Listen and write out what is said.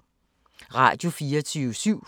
Radio24syv